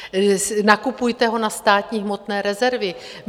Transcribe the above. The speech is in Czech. Nakupujte ho na státní hmotné rezervy!